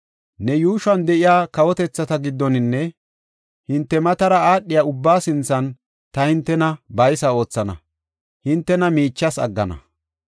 “Ne yuushuwan de7iya kawotethata giddoninne hinte matara aadhiya ubbaa sinthan ta hintena baysa oothana; hintena miichas aggana.